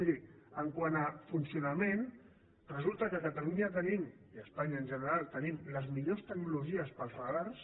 miri quant a funcionament resulta que a catalunya tenim i a espanya en general tenim les millors tecnologies per als radars